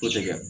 Kosɛbɛ